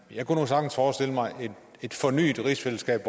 jeg kunne nu sagtens forestille mig et fornyet rigsfællesskab